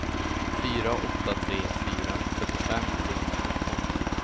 fyra åtta tre fyra fyrtiofem trehundranitton